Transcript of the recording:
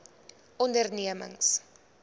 ondernemings